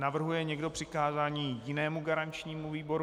Navrhuje někdo přikázání jinému garančnímu výboru?